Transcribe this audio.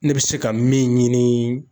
Ne bɛ se ka min ɲini